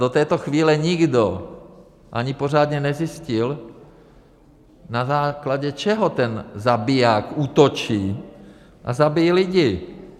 Do této chvíle nikdo ani pořádně nezjistil, na základě čeho ten zabiják útočí a zabíjí lidi.